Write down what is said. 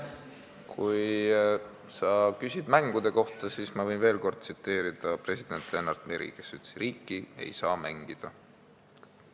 Kui sa küsid mängude kohta, siis ma võin veel kord tsiteerida president Lennart Meri, kes ütles: "Riiki ei saa mängida.